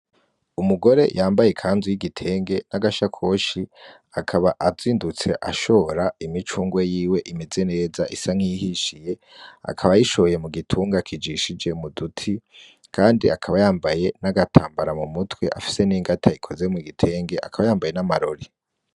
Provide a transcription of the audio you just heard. Umugore yambaye ikanzu y'igitenge n'agasha koshi akaba azindutse ashora imicungwa yiwe imeze neza isa nkihishiye akaba yishoye mu gitunga kijishije muduti, kandi akaba yambaye n'agatambara mu mutwe afise n'ingatayikoze mu gitenge akaba yambaye n'amarore.